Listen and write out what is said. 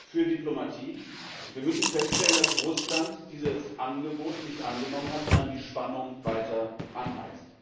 für Diplomatie, und wir müssen feststellen, dass Russland dieses Angebot nicht angenommen hat, sondern die Spannung weiter anheizt.